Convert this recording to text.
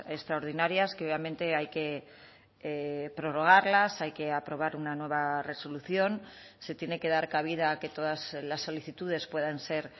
extraordinarias que obviamente hay que prorrogarlas hay que aprobar una nueva resolución se tiene que dar cabida a que todas las solicitudes puedan ser